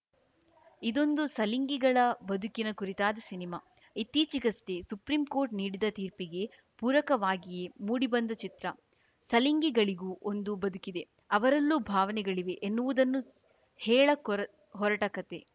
ಇದೊಂದು ಸಲಿಂಗಿಗಳ ಬದುಕಿನ ಕುರಿತಾದ ಸಿನಿಮಾ ಇತ್ತೀಚೆಗಷ್ಟೇ ಸುಪ್ರಿಂಕೋರ್ಟ್‌ ನೀಡಿದ ತೀರ್ಪಿಗೆ ಪೂರಕವಾಗಿಯೇ ಮೂಡಿಬಂದ ಚಿತ್ರ ಸಲಿಂಗಿಗಳಿಗೂ ಒಂದು ಬದುಕಿದೆ ಅವರಲ್ಲೂ ಭಾವನೆಗಳಿವೆ ಎನ್ನುವುದನ್ನು ಸ್ ಹೇಳ ಕೊರ ಹೊರಟ ಕತೆ